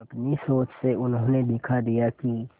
अपनी सोच से उन्होंने दिखा दिया कि